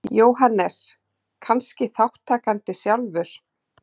Jóhannes: Kannski þátttakandi sjálfur?